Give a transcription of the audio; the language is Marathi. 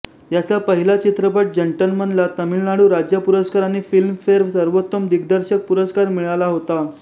याचा पहिला चित्रपट जंटलमनला तमिळनाडू राज्य पुरस्कार आणि फिल्मफेर सर्वोत्तम दिग्दर्शक पुरस्कार मिळाला होता